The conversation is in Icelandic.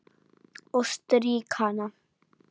Og strýk hana.